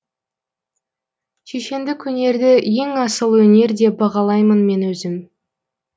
шешендік өнерді ең асыл өнер деп бағалаймын мен өзім